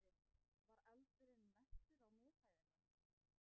Andri: Var eldurinn mestur á miðhæðinni?